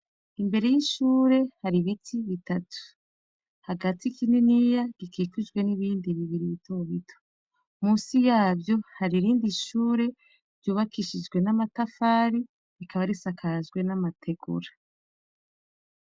Imbere y'ishure hari biti bitatu. Hagati kininiya gikikijwe n'ibindi bibiri bitobito, musi yavyo hari irindi shure ryubakishijwe n'amatafari, rikaba risakajwe n'amategura.